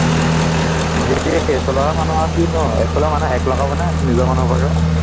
এইফালৰে মানুহ আৰু কিনো আৰু, এইফালৰ মানুহে hack লগাবনে নিজৰ মানুহ সোপাকে